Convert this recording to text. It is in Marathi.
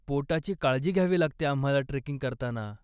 पोटाची काळजी घ्यावी लागते आम्हाला ट्रेकिंग करताना.